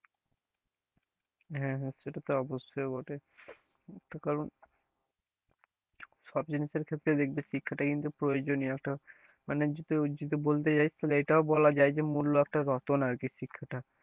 হ্যাঁ হ্যাঁ, সেটা তো অবশ্যই বটে তো কারন সব জিনিসের ক্ষেত্রে দেখবি শিক্ষাটা কিন্তু প্রয়োজনীয়তা মানে যদি ওই যদি বলতে যায় তাহলে এটাও বলা যায় যে মূল্য একটা রতন আরকি শিক্ষাটা,